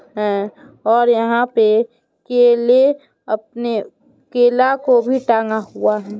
और यहाँ पे केले अपने केला को भी टंगा हुआ है।